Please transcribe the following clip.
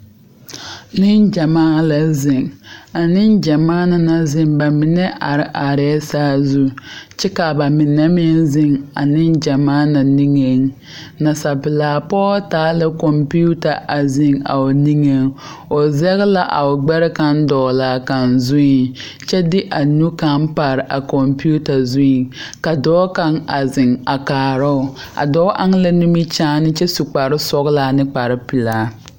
Nengyɛmaa la ziŋ a nengyɛmaa na naŋ ziŋ ba mine are are la saazu kyɛ ka ba mine meŋ ziŋ a nengyɛmaa na nigeŋ nasapelaa pɔge taa la computer a ziŋ a o nigeŋ o zage la a o gbɛre kaŋa dɔgle a kaŋ zuiŋ kyɛ de a nu kaŋa pare a computer zuiŋ ka dɔɔ kaŋa a ziŋ a kaara o a dɔɔ eŋ la nimikyaane kyɛ su kparesɔglaa ane kparepelaa.